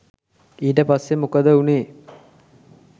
ඊට පස්සේ මොකද වුණේ?